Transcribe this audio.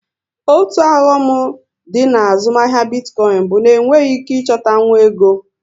Otu oghọm dị na azụmahịa bitcoin bụ na enweghị ike ịchọtanwu ego